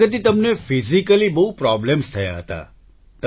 પ્રગતિ તમને ફિઝિકલી બહુ પ્રોબ્લેમ્સ થયા હતા